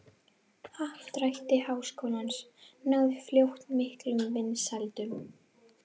Happdrætti Háskólans náði fljótt miklum vinsældum.